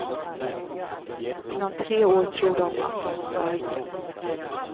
Inom tre år tror de att de ska lyckas.